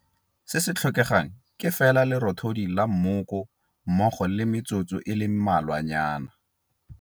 Se se tlhokegang ke fela lerothodi la mmoko mmogo le metsotso e le mmalwanyana.